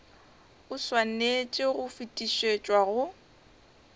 o swanetše go fetišetšwa go